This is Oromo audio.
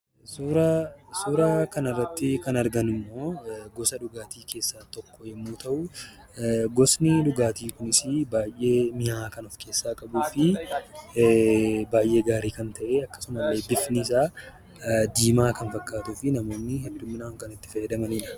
Suuraa kana irratti kan argamu immoo, gosa dhugaatii keessaa tokko yemmuu ta'u, gosni dhugaatii kunis baayyee mi'aawaa kan of keessaa qabudha fi baayyee gaarii kan ta'e akkasuma bifni isaa diimaa kan fakkaatuu fi namoonni hedduminaan itti fayyadamanidha